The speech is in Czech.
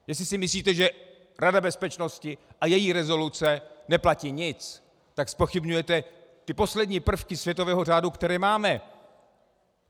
Jestli si myslíte, že Rada bezpečnosti a její rezoluce neplatí nic, tak zpochybňujete ty poslední prvky světového řádu, které máme!